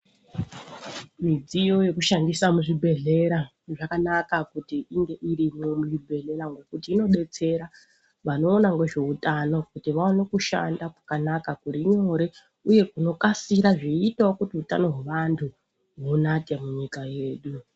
Midziyo yekushandisa muzvibhedhlera zvakanaka kuti inge irimwo muzvibhedhlera ngokuti inodetsera vanoona ngezveutano kuti vaone kushanda kwakanaka kuri nyore uye kunokasira zveiitawo kuti utano hwrvantu hunake munyika yedu.